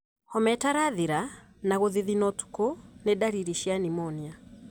Homa ĩtarathira na gũthithina ũtukũ nĩ ndariri cia pneumonia.